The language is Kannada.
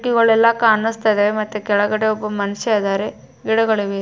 ಕೀಡುಕಿಗಳೆಲ್ಲ ಕಾಣುಸ್ತ ಇದ್ದಾವೆ ಮತ್ತೆ ಕೆಳಗಡೆ ಒಬ್ಬ ಮನುಷ್ಯ ಇದ್ದಾರೆ ಗಿಡಗಳಿವೆ.